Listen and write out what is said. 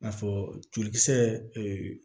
I n'a fɔ jolikisɛ ee